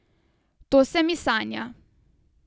To se mi sanja.